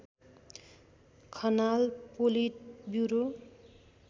Khanal politburo